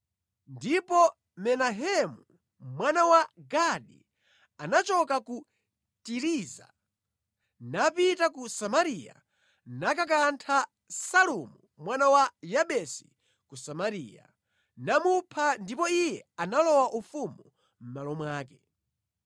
Ndipo Menahemu mwana wa Gadi anachoka ku Tiriza napita ku Samariya nakantha Salumu mwana wa Yabesi ku Samariya, namupha ndipo iye analowa ufumu mʼmalo mwake.